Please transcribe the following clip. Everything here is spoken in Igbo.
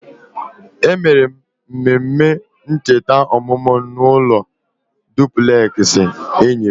E mere m mmemme ncheta ọmụmụ m n'ụlọ dupleksị enyi m